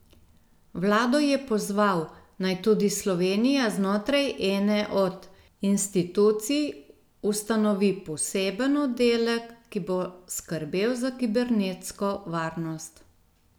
Vlado je pozval, naj tudi Slovenija znotraj ene od institucij ustanovi poseben oddelek, ki bo skrbel za kibernetsko varnost.